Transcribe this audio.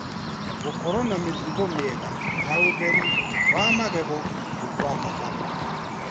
Gũkorwo na mĩtugo mĩega ya ũtheru wa magego nĩ kwa bata .